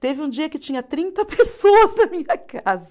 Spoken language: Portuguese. Teve um dia que tinha trinta pessoas na minha casa.